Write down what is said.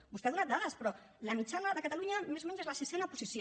vostè n’ha donat dades però la mitjana de catalunya més o menys és la sisena posició